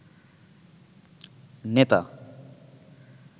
নেতা